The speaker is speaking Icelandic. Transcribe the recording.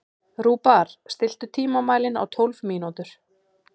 Rúbar, stilltu tímamælinn á tólf mínútur.